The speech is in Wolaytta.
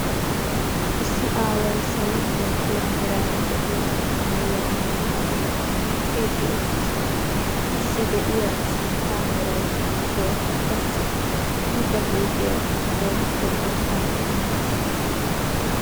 Issi aaway saalo malatiya meraara de'iya maayuwa mmayidi miicciidi uttiis, assi deiya sintta meraykka bootta qassi I ba huuphphiya keehippe qanttan qanxxiissiis.